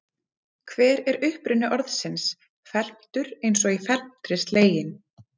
Hver er uppruni orðsins felmtur eins og í felmtri sleginn?